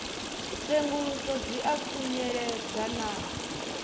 tsenguluso dzi a khunyeledzwa na